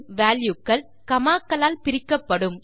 value க்கள் காமா க்களால் பிரிக்கப்படும்